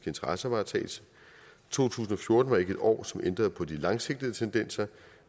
interessevaretagelse to tusind og fjorten var ikke et år som ændrede på de langsigtede tendenser